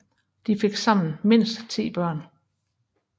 De fik sammen mindst ti børn